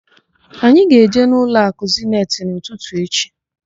Anyị ga-eje ụlọakụ Zeniti n'ụtụtụ echi.